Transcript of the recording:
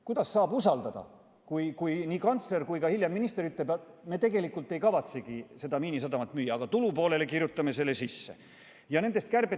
Kuidas saab usaldada, kui nii kantsler kui ka hiljem minister ütlevad, et nad tegelikult ei kavatsegi Miinisadamat müüa, aga tulupoolele kirjutavad selle sisse?